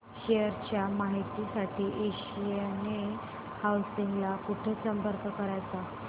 share च्या माहिती साठी आशियाना हाऊसिंग ला कुठे संपर्क करायचा